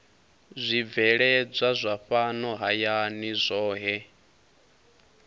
zwibveledzwa zwa fhano hayani zwohe